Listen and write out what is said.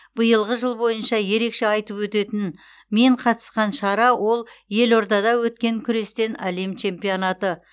биылғы жыл бойынша ерекше айтып өтетін мен қатысқан шара ол елордада өткен күрестен әлем чемпионаты